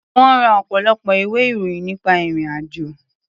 Wọ́n ra ọ̀pọ̀lọpọ̀ ìwé-ìròyìn nípa ìrì-àjò.